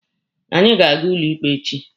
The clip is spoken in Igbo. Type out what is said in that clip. Anyị ga-aga ụlọ ikpe echi.